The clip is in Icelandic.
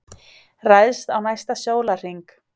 Ræðst á næsta sólarhring